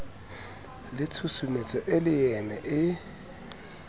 le tshusumetso e leeme e